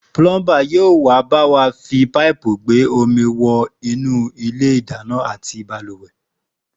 Púlọ́ḿbà yóò bá wa fi páìpù gbé omi wọ inú ilé ìdáná àti bàlùwẹ̀